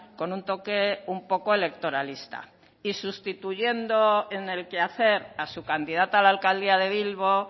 con un toque un poco electoralista y sustituyendo en el quehacer a su candidata a la alcaldía de bilbo